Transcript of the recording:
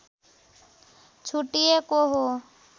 छुट्टिएको हो